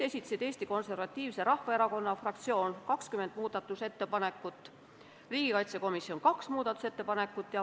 Eesti Konservatiivse Rahvaerakonna fraktsioon esitas 20 ettepanekut ja riigikaitsekomisjon kaks ettepanekut.